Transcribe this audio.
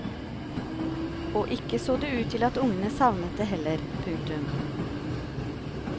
Og ikke så det ut til at ungene savnet det heller. punktum